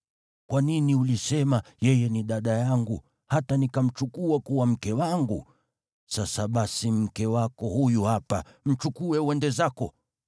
Kwa nini ulisema, ‘Yeye ni dada yangu,’ hata nikamchukua kuwa mke wangu? Sasa basi, mke wako huyu hapa. Mchukue uende zako!”